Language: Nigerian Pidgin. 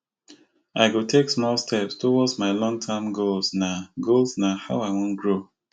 i go take small steps towards my longterm goals na goals na how i go grow